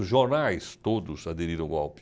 Os jornais todos aderiram o golpe.